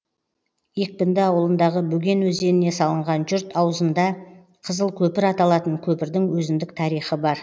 екпінді ауылындағы бөген өзеніне салынған жұрт аузында қызыл көпір аталатын көпірдің өзіндік тарихы бар